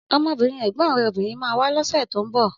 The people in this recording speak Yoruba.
Ọmọbìnrin ẹ̀gbọ́n rẹ̀ obìnrin ma wá lọ́sẹ̀ tó ń bọ̀